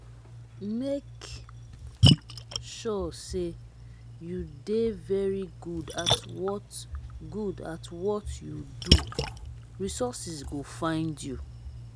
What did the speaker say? make sure say you de very good at what good at what you do resources go find you